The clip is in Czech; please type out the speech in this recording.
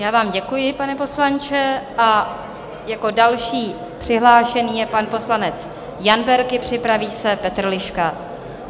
Já vám děkuji, pane poslanče, a jako další přihlášený je pan poslanec Jan Berki, připraví se Petr Liška.